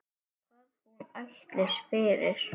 Hvað hún ætlist fyrir.